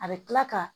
A bɛ tila ka